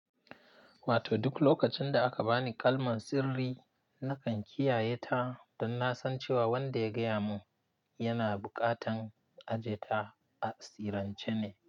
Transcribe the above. Wato duk lokacin da aka bani kalman sirri, nakan kiyaye ta don na san cewa wanda ya gaya mun yana bukatan aje ta a tsiranche ne.